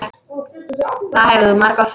Það hefur þú margoft sagt.